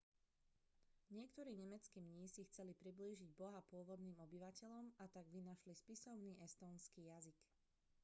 niektorí nemeckí mnísi chceli priblížiť boha pôvodným obyvateľom a tak vynašli spisovný estónsky jazyk